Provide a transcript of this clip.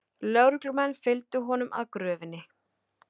Lögreglumenn fylgdu honum að gröfinni